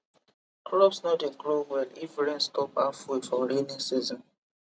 crops no dey grow well if rain stop halfway for rainy season